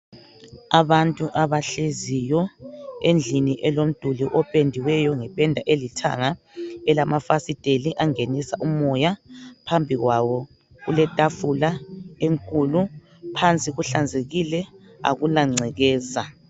Abantu abahleziyo endlini elomduli opendiweyo ngepeda elithanga elamafasiteli angenisa umoya phambi kwabo kuletafula enkulu phansi kuhlazekile akula gcekeza.